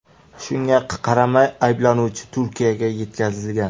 Shunga qaramay ayblanuvchi Turkiyaga yetkazilgan.